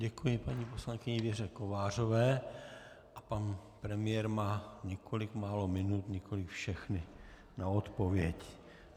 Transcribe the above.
Děkuji paní poslankyni Věře Kovářové a pan premiér má několik málo minut, nikoliv všechny na odpověď.